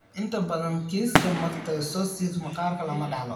Inta badan kiisaska mastocytosis maqaarka lama dhaxlo.